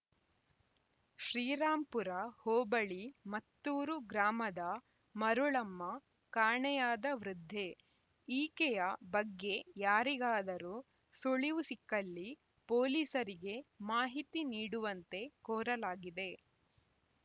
ಶ್ರೀರಾಂಪುರ ಹೋಬಳಿ ಮತ್ತೂರು ಗ್ರಾಮದ ಮರುಳಮ್ಮ ಕಾಣೆಯಾದ ವೃದ್ಧೆ ಈಕೆಯ ಬಗ್ಗೆ ಯಾರಿಗಾದರೂ ಸುಳಿವು ಸಿಕ್ಕಲ್ಲಿ ಪೊಲೀಸರಿಗೆ ಮಾಹಿತಿ ನೀಡುವಂತೆ ಕೋರಲಾಗಿದೆ